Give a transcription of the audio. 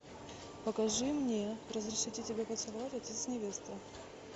покажи мне разрешите тебя поцеловать отец невесты